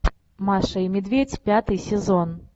маша и медведь пятый сезон